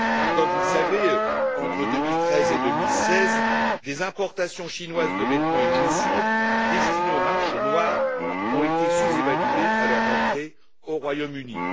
Comme vous le savez, entre 2013 et 2016, des importations chinoises de vêtements et de chaussures destinées au marché noir ont été sous évaluées à leur entrée au Royaume Uni.